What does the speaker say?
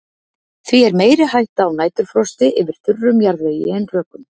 Því er meiri hætta á næturfrosti yfir þurrum jarðvegi en rökum.